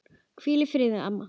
Hvíl í friði mamma.